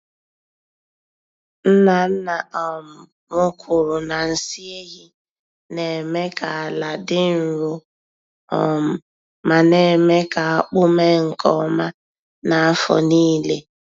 Nna nna um m kwuru na nsị ehi na-eme ka ala dị nro um ma némè' ka akpụ mee nke ọma n'afọ nílé.